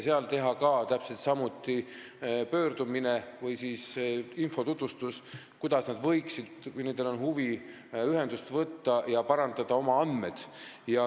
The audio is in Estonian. Seal saab täpselt samuti teha pöördumise või infotutvustuse, kuidas nad võiksid huvi korral ühendust võtta ja oma andmeid parandada.